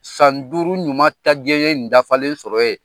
San duuru ɲuman ta gɛɲɛ nin dafalen sɔrɔ yen.